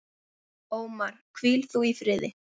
Ómar, hvíl þú í friði.